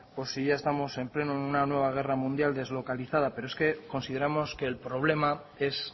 o si ya estamos de pleno en una nueva guerra mundial deslocalizada pero es que consideramos que el problema es